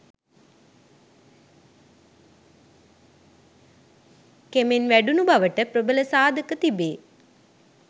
කෙමෙන් වැඩුණු බවට ප්‍රබල සාධක තිබේ.